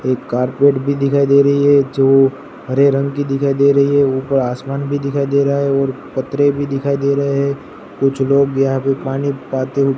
एक कारपेट भी दिखाई दे रही है जो हरे रंग की दिखाई दे रही है ऊपर आसमान भी दिखाई दे रहा है और पत्रें भी दिखाई दे रहे हैं कुछ लोग यहां पे पानी पाते--